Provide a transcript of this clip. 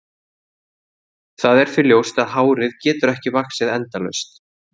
Það er því ljóst að hárið getur ekki vaxið endalaust.